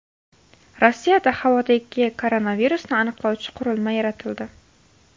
Rossiyada havodagi koronavirusni aniqlovchi qurilma yaratildi.